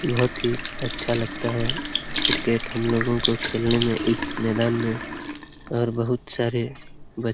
बहुत ही अच्छा लगता है क्रिकेट हम लोगों को खेलने में इस मैदान में और बहुत सारे बच --